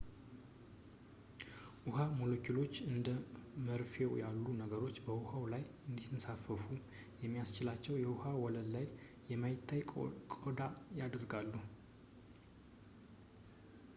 የውሃ ሞለኪውሎች እንደ መርፌው ያሉ ነገሮች በውሃው ላይ እንዲንሳፈፉ የሚያስችላቸውን የውሃ ወለል ላይ የማይታይ ቆዳ ያደርጋሉ